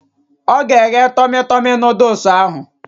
Ọ ga-egge tọmi tọmi nọdụs ahụ